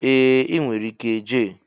Ee inwere ike Jay.